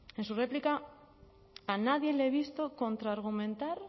en su réplica a nadie le he visto contrargumentar